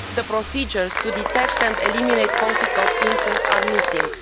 them. Procedures to detect and eliminate conflicts of interest are missing.